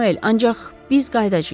Samuel, ancaq biz qayıdacayıq.